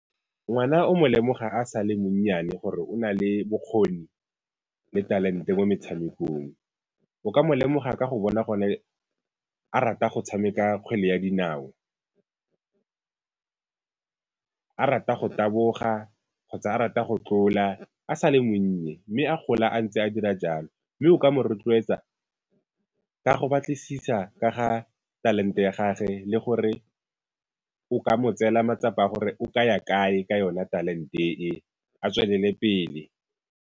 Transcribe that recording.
Ngwana o mo lemoga a sa le monnyane gore o na le bokgoni le talente mo metshamekong. O ka mo lemoga ka go bona gone a rata go tshameka kgwele ya dinao, a rata go taboga kgotsa a rata go tlola a sa le monnye, mme a gola a ntse a dira jalo, mme o ka mo rotloetsa ka go batlisisa ka ga talente ya gagwe le gore o ka mo tseela matsapa a gore o kaya kae ka yona talente e, a tswelele pele.